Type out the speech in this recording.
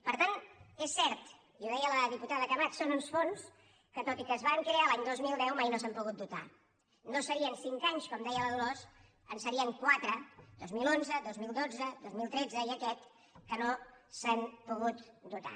per tant és cert i ho deia la diputada camats són uns fons que tot i que es van crear l’any dos mil deu mai no s’han pogut dotar no serien cinc anys com deia la dolors en serien quatre dos mil onze dos mil dotze dos mil tretze i aquest que no s’han pogut dotar